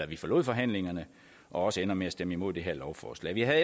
vi forlod forhandlingerne og også ender med at stemme imod det her lovforslag vi havde